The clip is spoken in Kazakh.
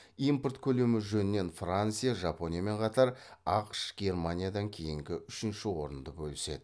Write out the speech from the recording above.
импорт көлемі жөнінен франция жапониямен қатар ақш германиядан кейінгі үшінші орынды бөліседі